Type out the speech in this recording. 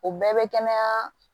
O bɛɛ bɛ kɛnɛya